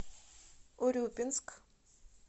урюпинск